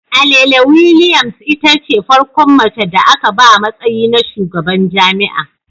Alele Williams itace farkon mace da aka ba matsayi na shugaban jami'a